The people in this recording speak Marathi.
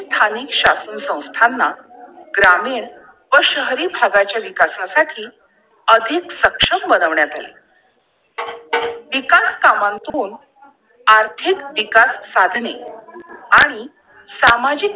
स्थानिक शासन संस्थांना ग्रामीण व शहरी भागाच्या विकासा साठी अधिक सक्षम बनवण्यात येईल! विकास कामातून आर्थिक विकास साधने आणि सामाजिक